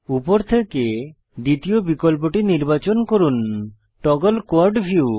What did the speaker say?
উপর থেকে দ্বিতীয় বিকল্পটি নির্বাচন করুন টগল কোয়াড ভিউ